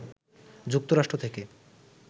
যুক্তরাষ্ট্র থেকে